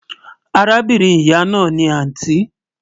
Àràbìnrin ìyà náà ni àntí